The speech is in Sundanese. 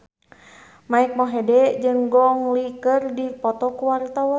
Mike Mohede jeung Gong Li keur dipoto ku wartawan